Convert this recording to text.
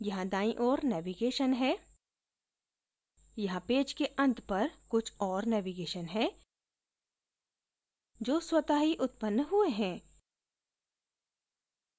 यहाँ दाईं ओर navigation है यहाँ पेज के अंत पर कुछ और navigation है जो स्वत: ही उत्पन्न हुए हैं